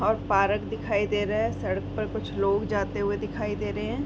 और पारक दिखाई दे रहा है। सड़क पर कुछ लोग जाते हुए दिखाई दे रहे हैं।